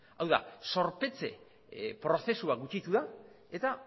hau da zorpetze prozesua gutxitu da eta